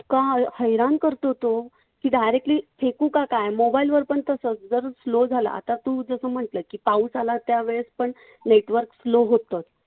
हैराण करतो तो की directly फेकू का काय? mobile वर पण तसंच. जर slow झाला. आता तू जसं म्हंटल की पाऊस आला त्यावेळेस पण network slow होतं.